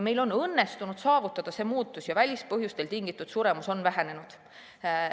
Meil on õnnestunud see muutus saavutada ja välispõhjustest tingitud suremus on vähenenud.